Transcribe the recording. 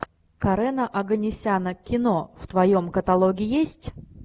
карена оганесяна кино в твоем каталоге есть